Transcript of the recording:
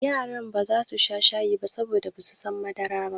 Yarana baza su sha shayi ba saboda basu son madara.